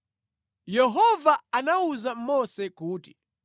Yehova anawuza Mose kuti,